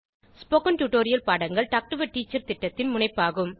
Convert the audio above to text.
spoken tutorial பாடங்கள் talk to a teacher திட்டத்தின் முனைப்பாகும்